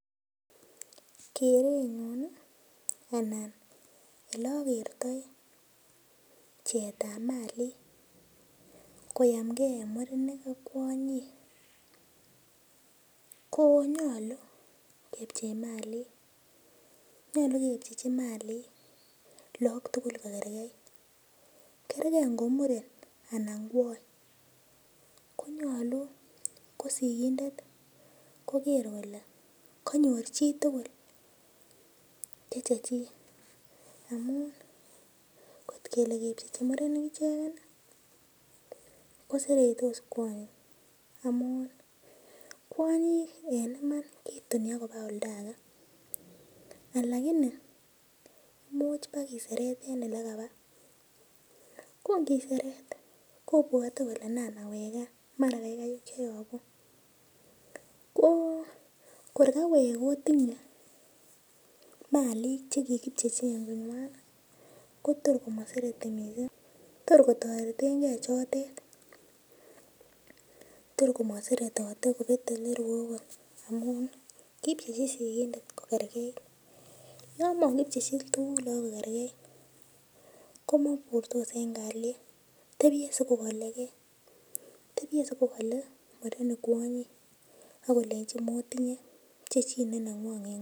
Kerenyun anan oleakertoi pcheet ap malik koyamkei eng murenik ak kwonyik ko nyolu kepchei malik nyolu kepchechi malik laak tukul kokerkeit kerkei ngo muren anan kwony konyolu ko sikindet ko kerei kole kanyor chitugul che chechi amun kotkele kepchechi murenik icheken ko seretos kwonyik amu kwonyik en Iman ketuni akopa oldaake alakini muuch pakeseret eng oto en ole kapa kongiseret kopwote kole naan nawek kaa mara kapcheo mbar ko kor kawek kotinye malik chekikipchechi eng kongwan kotor masereti mising tor kotoretengei chote tormaseretote kopete olerue amun kipchechin sikindet kokerkeit yan makipchechi tugul kokerkeit komopurtos eng' kaliet tepie siko kolekee tepchei sikokole murenik kwonyik akolengini motinye pchechit ne ningwong